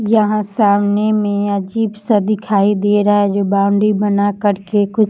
यहां सामने में अजीब सा दिखाई दे रहा है जो बॉउंड्री बना करके कुछ --